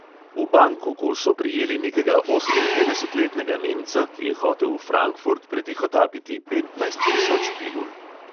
V bangkoku so prijeli nekega oseminpetdesetletnega nemca, ki je hotel v frankfurt pretihotapiti petnajst tisoč pilul.